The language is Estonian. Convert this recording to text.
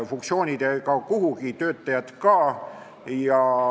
Funktsioonid ei kao kuhugi, töötajad ka.